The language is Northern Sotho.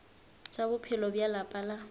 tša bophelo bja lapa la